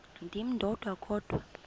ndim ndodwa kodwa